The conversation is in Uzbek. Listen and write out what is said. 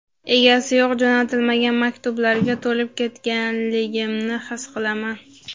egasi yo‘q jo‘natilmagan maktublarga to‘lib ketganligimni his qilaman.